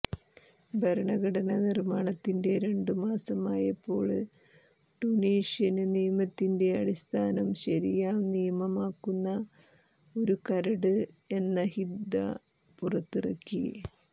ഭരണഘടന നിര്മാണത്തിന്റെ രണ്ടു മാസം ആയപ്പോള് ടുണീഷ്യന് നിയമത്തിന്റെ അടിസ്ഥാനം ശരിയാ നിയമമാക്കുന്ന ഒരു കരട് എന്നഹ്ദ പുറത്തിറക്കി